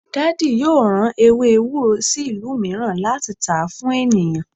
Daddy yoo ran ewe ewuro si ilu miiran lati ta fun eniyan